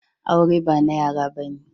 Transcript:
Aure ba na yara bane.